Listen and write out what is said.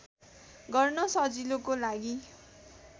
गर्न सजिलोको लागि